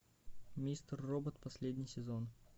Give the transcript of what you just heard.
мистер робот последний сезон